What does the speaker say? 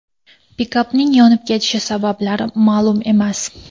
Pikapning yonib ketishi sabablari ma’lum emas.